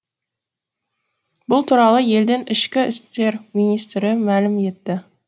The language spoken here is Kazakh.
бұл туралы елдің ішкі істер министрі мәлім етті